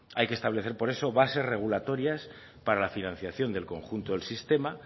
hay que establecer por eso bases regulatorias para la financiación del conjunto del sistema